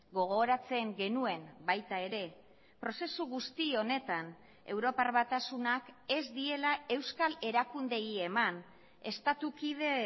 gogoratzen genuen baita ere prozesu guzti honetan europar batasunak ez diela euskal erakundeei eman estatu kide